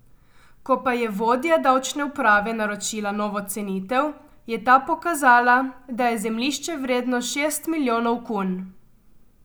Ko pa je vodja davčne uprave naročila novo cenitev, je ta pokazala, da je zemljišče vredno šest milijonov kun.